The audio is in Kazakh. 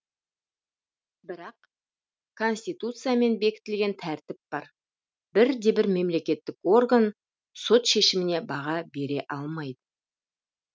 бірақ конституциямен бекітілген тәртіп бар бірде бір мемлекеттік орган сот шешіміне баға бере алмайды